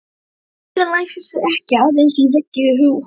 Eldurinn læsir sig ekki aðeins í veggi húsa.